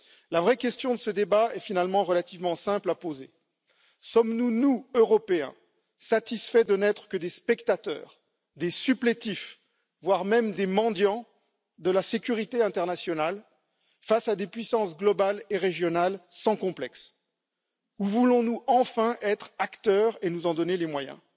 La vraie question de ce débat est finalement relativement simple à poser sommes nous, nous Européens, satisfaits de n'être que des spectateurs, des supplétifs, voire même des mendiants de la sécurité internationale face à des puissances globales et régionales sans complexes ou voulons nous enfin être acteurs et nous en donner les moyens.